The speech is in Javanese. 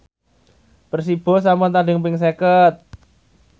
Persibo sampun tandhing ping seket